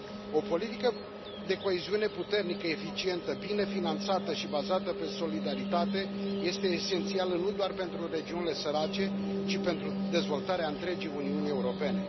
O politică de coeziune puternică, eficientă, bine finanțată și bazată pe solidaritate este esențială nu doar pentru regiunile sărace, ci pentru dezvoltarea întregii Uniuni Europene.